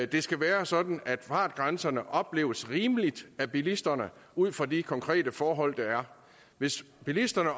det skal være sådan at fartgrænserne opleves rimelige af bilisterne ud fra de konkrete forhold der er hvis bilisterne